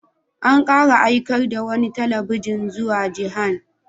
An kara aikar da wani bataliya zuwa Jihan.